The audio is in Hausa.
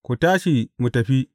Ku tashi, mu tafi!